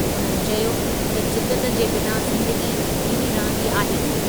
उन्हनि चयो त जिदत जे बिना ज़िंदगी बीही रहंदी आहे।